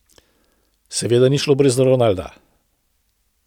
Seveda ni šlo brez Ronalda.